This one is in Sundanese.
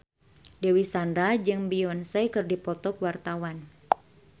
Dewi Sandra jeung Beyonce keur dipoto ku wartawan